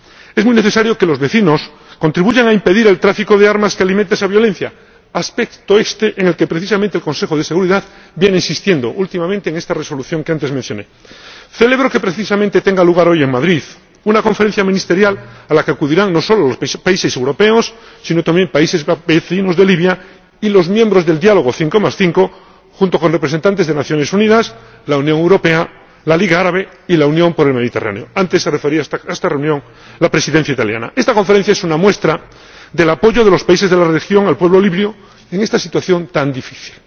Es muy necesario que los vecinos contribuyan a impedir el tráfico de armas que alimenta esa violencia, aspecto este en el que precisamente el Consejo de Seguridad viene insistiendo últimamente, en esta Resolución que antes mencioné. Celebro que precisamente tenga lugar hoy, en Madrid, una Conferencia ministerial a la que acudirán no solo países europeos, sino también países vecinos de Libia y los miembros del Diálogo 55, junto con representantes de las Naciones Unidas, la Unión Europea, la Liga Árabe, la Unión Africana y la Unión por el Mediterráneo antes se refería a ello la Presidencia italiana a esta reunión. Esta Conferencia es una muestra del apoyo de los países de la región al pueblo libio en esta situación tan difícil.